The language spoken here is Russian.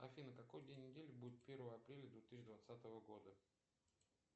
афина какой день недели будет первое апреля две тысячи двадцатого года